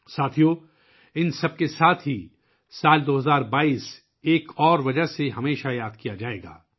ساتھیو ، ان سب کے ساتھ ساتھ سال 2022 ء ایک اور وجہ سے ہمیشہ یاد رکھا جائے گا